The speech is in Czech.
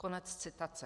Konec citace.